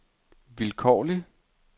vilkårlig